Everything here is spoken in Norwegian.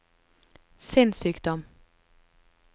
sinnssykdom